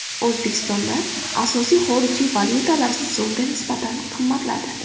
O‘zbekistonda asosiy xorijiy valyutalar so‘mga nisbatan qimmatladi .